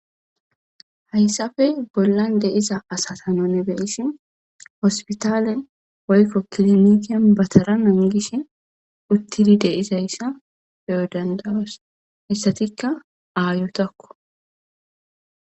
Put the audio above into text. hayssafe bollan deiza asatanone beyissi hospitaalen oykko kilomiten batara nangishe uttidi deizayssa beyo dandawos hissatikka aayotakko